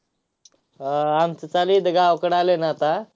हा, आमचं चालू आहे इथं. गावाकडं आलोय ना आता.